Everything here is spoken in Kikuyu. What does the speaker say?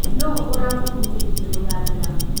Nũ ũramũbundithirie gũthambĩra